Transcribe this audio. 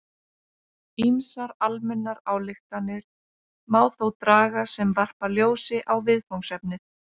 Ýmsar almennar ályktanir má þó draga sem varpa ljósi á viðfangsefnið.